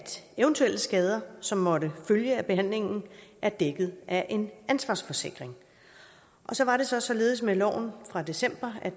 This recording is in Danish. eventuelle skader som måtte følge af behandlingen er dækket af en ansvarsforsikring og så var det så således med loven fra december at